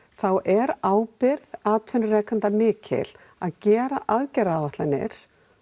er ábyrgð atvinnurekenda mikil að gera aðgerðaráætlanir